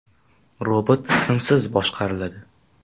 Robot simsiz boshqariladi.